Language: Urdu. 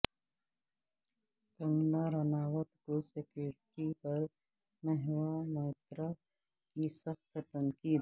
کنگنا رناوت کو سکیوریٹی پر مہواموئترا کی سخت تنقید